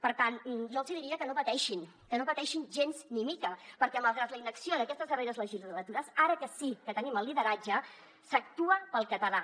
per tant jo els hi diria que no pateixin que no pateixin gens ni mica perquè malgrat la inacció d’aquestes darreres legislatures ara que sí que tenim el lideratge s’actua pel català